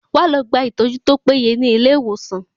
Wá lọ gba ìtọ́jú tó péye ní ilé ìwòsan.